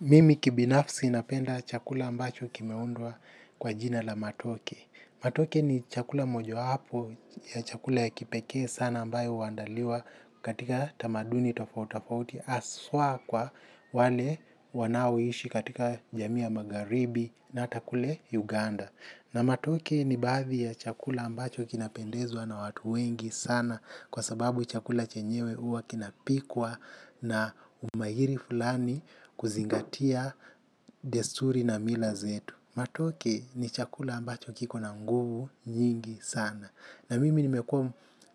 Mimi kibinafsi napenda chakula ambacho kimeundwa kwa jina la matoke. Matoke ni chakula moja wapo ya chakula ya kipekee sana ambayo huandaliwa katika tamaduni tofauti tofauti haswa kwa wale wanaoishi katika jamii ya magharibi na hata kule Uganda. Na matoke ni baadhi ya chakula ambacho kinapendezwa na watu wengi sana kwa sababu chakula chenyewe huwa kinapikwa na umahiri fulani kuzingatia desturi na mila zetu. Matoke ni chakula ambacho kiko na nguvu nyingi sana. Na mimi nimekuwa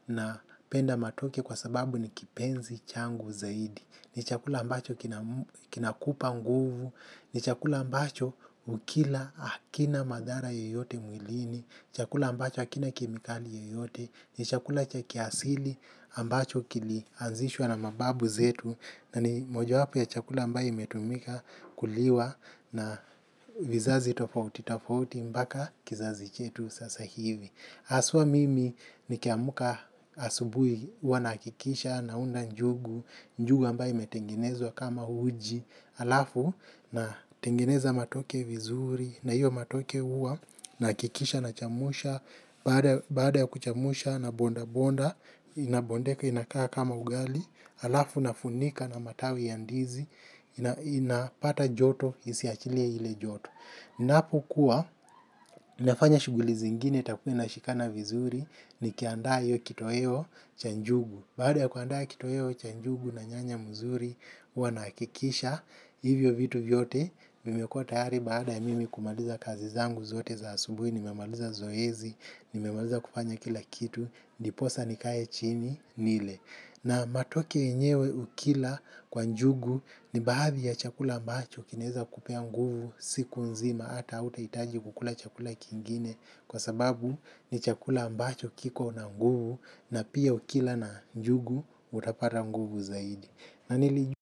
napenda matoke kwa sababu ni kipenzi changu zaidi. Ni chakula ambacho kina kinakupa nguvu, ni chakula ambacho ukila hakina madhara yoyote mwilini, ni chakula ambacho hakina kemikali yoyote, ni chakula cha kiasili ambacho kilianzishwa na mababu zetu na ni moja wapo ya chakula ambayo imetumika kuliwa na vizazi tofauti tofauti mpaka kizazi chetu sasa hivi. Haswa mimi nikiamka asubuhi huwa nahakikisha, naunda njugu, njugu ambaye imetengenezwa kama uji, alafu natengeneza matoke vizuri, na hiyo matoke huwa, nahakikisha nachemsha baada ya, baada ya kuchemsha nabonda bonda, inabondeka inakaa kama ugali, alafu nafunika na matawi ya ndizi, inapata joto, isiachilie ile joto. Ninapokuwa, ninafanya shughuli zingine itakuwa inashikana vizuri nikiandaa iyo kitoweo cha njugu. Baada ya kuandaa kitoweo cha njugu na nyanya mzuri, huwa nahikikisha, hivyo vitu vyote, vimekuwa tayari baada ya mimi kumaliza kazi zangu zote za asubuhi, nimemaliza zoezi, nimemaliza kufanya kila kitu, ndiposa nikae chini, nile. Na matoke yenyewe ukila kwa njugu ni baadhi ya chakula ambacho kinaeza kupea nguvu siku nzima hata hutahitaji kukula chakula kingine kwa sababu ni chakula mbacho kiko na nguvu na pia ukila na njugu utapata nguvu zaidi. Na nilijua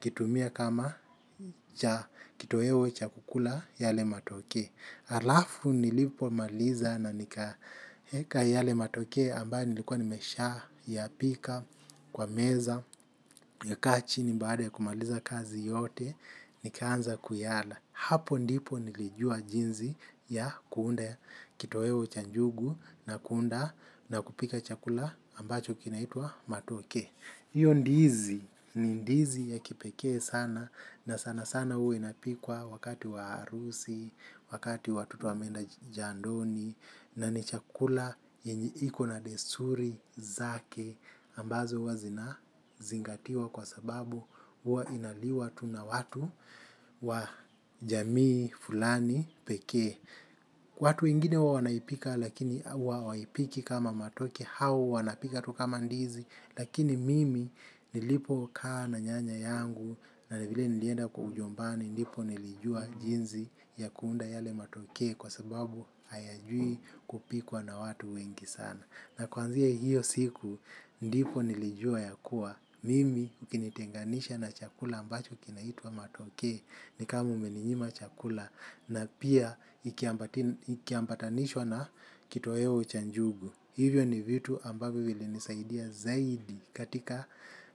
ukitumia kama cha kitoweo cha kukula yale matoke. Alafu nilipomaliza na nikaeka yale matoke ambayo nilikuwa nimeshayapika kwa meza nakaa chini baada ya kumaliza kazi yote nikaanza kuyala. Hapo ndipo nilijua jinsi ya kuunda kitoweo cha njugu na kuunda na kupika chakula ambacho kinaitwa matoke. Hio ndizi ni ndizi ya kipekee sana na sanasana huwa inapikwa wakati wa harusi wakati watoto wameenda jandoni na ni chakula yenye iko na desturi zake ambazo huwa zina zingatiwa kwa sababu huwa inaliwa tu na watu wa jamii fulani pekee. Watu wengine huwa wanaipika lakini huwa hawaipiki kama matoke au wanapika tu kama ndizi lakini mimi nilipokaa na nyanya yangu na vile nilienda kwa ujombani ndipo nilijua jinsi ya kuunda yale matoke kwa sababu hayajui kupikwa na watu wengi sana na kuanzia hiyo siku ndipo nilijua ya kuwa mimi ukinitenganisha na chakula ambacho kinaitwa matoke ni kama umeninyima chakula na pia ikiambatanishwa na kitoweo cha njugu. Hivyo ni vitu ambavyo vilinisaidia zaidi katika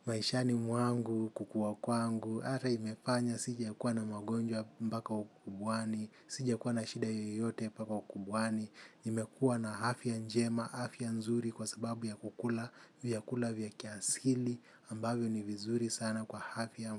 maishani mwangu, kukuwa kwangu, ata imefanya sijakuwa na magonjwa mbaka ukubwani, sijakuwa na shida yoyote mpaka ukubwani, nimekuwa na afya njema, afya nzuri kwa sababu ya kukula, vyakula vya kiasili ambavyo ni vizuri sana kwa afya.